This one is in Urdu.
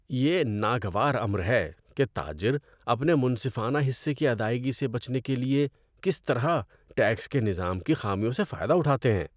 یہ ناگوار امر ہے کہ تاجر اپنے منصفانہ حصے کی ادائیگی سے بچنے کے لیے کس طرح ٹیکس کے نظام کی خامیوں سے فائدہ اٹھاتے ہیں۔